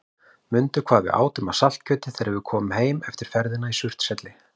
Mundu hvað við átum af saltkjöti þegar við komum heim eftir ferðina í Surtshelli.